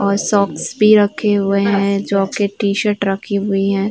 और सॉक्स भी रखे हुए हैं। जॉकेट टीशर्ट रखी हुई हैं।